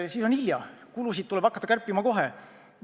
Siis on hilja, kulusid tuleb hakata kärpima kohe.